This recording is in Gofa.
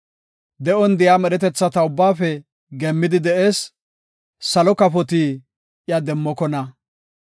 De7on de7iya medhetetha ubbaafe geemmidi de7ees; salo kafoti iya demmokona.